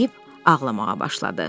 deyib ağlamağa başladı.